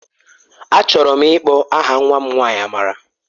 Achọrọ m ịkpọ aha nwa m nwanyị Amara.